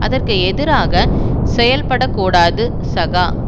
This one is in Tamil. அதற்கு எதிராக செயல்பட கூடாது சகா